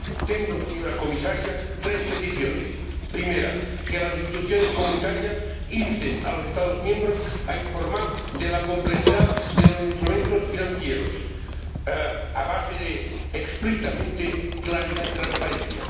Tengo, señora Comisaria, tres peticiones primera, que las instituciones comunitarias insten a los Estados miembros a informar de la complejidad de los instrumentos financieros a base de, explícitamente, claridad y transparencia